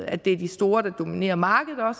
at det er de store der dominerer markedet og